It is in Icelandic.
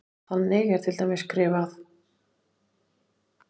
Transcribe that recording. Þannig er til dæmis skrifað: